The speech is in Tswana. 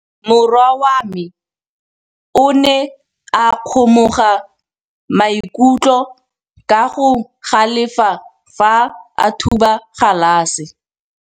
Morwa wa me o ne a kgomoga maikutlo ka go galefa fa a thuba galase.